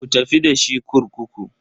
Ku tafi da shi kurkuku.